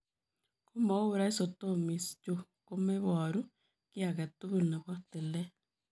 Komauu rhizotomies, chuu komeparuu kiy agee tugul nepoo tileet.